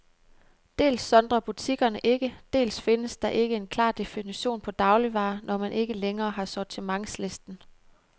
Dels sondrer butikkerne ikke, dels findes der ikke en klar definition på dagligvarer, når man ikke længere har sortimentslisten.